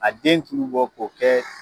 Ka den tuku bɔ k'o kɛ